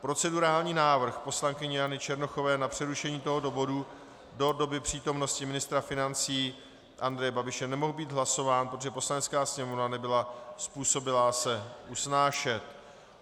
Procedurální návrh poslankyně Jany Černochové na přerušení tohoto bodu do doby přítomnosti ministra financí Andreje Babiše nemohl být hlasován, protože Poslanecká sněmovna nebyla způsobilá se usnášet.